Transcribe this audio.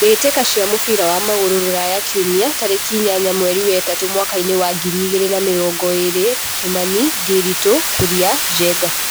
Mbĩ tĩ ka cia mũbira wa magũrũ Ruraya Kiumia tarĩ ki inyanya mweri wa ĩ tatũ mwakainĩ wa ngiri igĩ rĩ na mĩ rongo ĩ rĩ Kimani, Ndiritu, Kuria, Njenga.